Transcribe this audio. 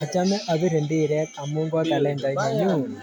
Achome apire mbiret amu kotalendait nanyun.